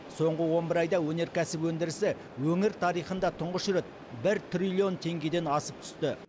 соңғы он бір айда өнеркәсіп өндірісі өңір тарихында тұңғыш рет бір трллионн тенгеден асып түсті